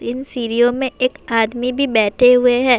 ان سیڑھیوں مے ایک آدمی بھی بیٹھے ہوئے ہیں-